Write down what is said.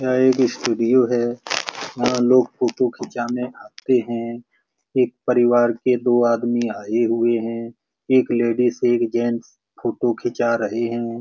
यह एक स्टूडियो है यहाँ लोग फोटो खिचाने आते है एक परिवार के दो आदमी आए हुए है एक लेडीज एक जेंट्स फोटो खीचा रहे है ।